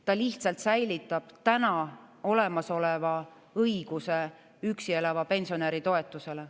Ta lihtsalt säilitab täna olemasoleva õiguse üksi elava pensionäri toetusele.